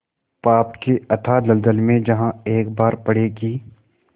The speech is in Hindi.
पाप के अथाह दलदल में जहाँ एक बार पड़े कि